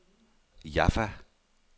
Jaffa